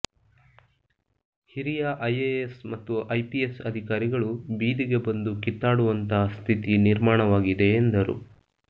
ಹಿರಿಯ ಐಎಎಸ್ ಮತ್ತು ಐಪಿಎಸ್ ಅಧಿಕಾರಿಗಳು ಬೀದಿಗೆ ಬಂದು ಕಿತ್ತಾಡುವಂತಹ ಸ್ಥಿತಿ ನಿರ್ಮಾಣವಾಗಿದೆ ಎಂದರು